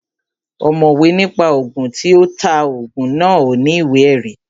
Ọ̀mọ̀wé ní pa Ògùn, tí ó ta Ògùn náà ò ní ìwé ẹ̀rí